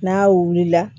N'a wulila